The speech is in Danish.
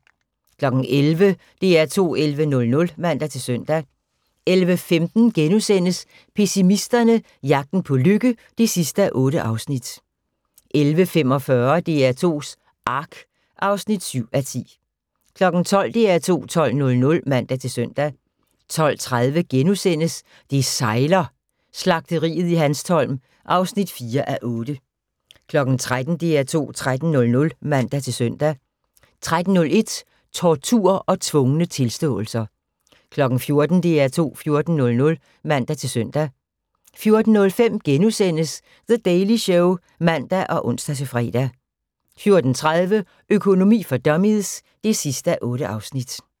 11:00: DR2 11.00 (man-søn) 11:15: Pessimisterne – jagten på lykke (8:8)* 11:45: DR2s Ark (7:10) 12:00: DR2 12.00 (man-søn) 12:30: Det sejler - Slagteriet i Hanstholm (4:8)* 13:00: DR2 13.00 (man-søn) 13:01: Tortur og tvungne tilståelser 14:00: DR2 14.00 (man-søn) 14:05: The Daily Show *(man og ons-fre) 14:30: Økonomi for dummies (8:8)